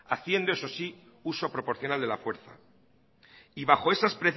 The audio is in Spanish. haciendo eso sí uso proporcional de la fuerza y bajo esas